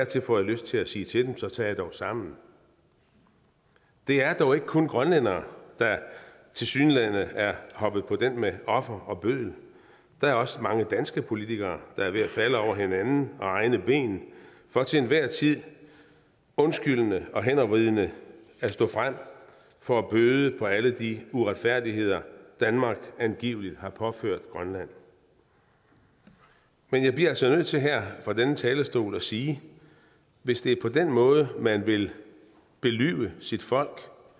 til får jeg lyst til at sige til dem så tag jer dog sammen det er dog ikke kun grønlændere der tilsyneladende er hoppet på den med offer og bøddel der er også mange danske politikere der er ved at falde over hinanden og egne ben for til enhver tid undskyldende og hændervridende at stå frem for at bøde på alle de uretfærdigheder danmark angiveligt har påført grønland men jeg bliver altså nødt til her fra denne talerstol at sige at hvis det er på den måde man vil lyve sit folk for